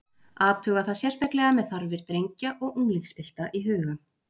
Athuga það sérstaklega með þarfir drengja og unglingspilta í huga.